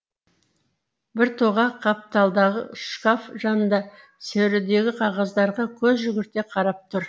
біртоға қапталдағы шкаф жанында сөредегі қағаздарға көз жүгірте қарап тұр